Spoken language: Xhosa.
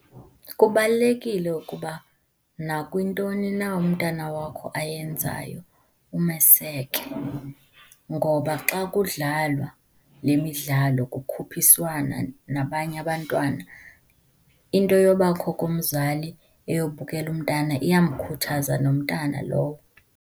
Kubalulekile ukuba nakwintoni na umntana wakho ayenzayo, umeseke ngoba xa kudlalwa le midlalo kukhuphiswana nabanye abantwana into yobakho komzali eyokubukela umntana iyamkhuthaza nomntana lowo.